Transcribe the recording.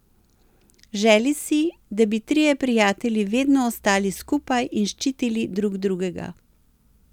Želi si, da bi trije prijatelji vedno ostali skupaj in ščitili drug drugega.